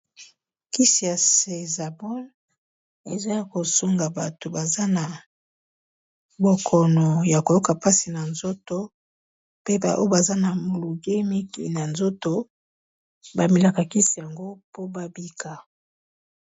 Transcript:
Kisi ya cesapol eza ya ko sunga bato baza na bokono ya koyoka mpasi na nzoto, pe ba oyo baza na molunge mingi na nzoto ba melaka ba kisi yango po ba bika.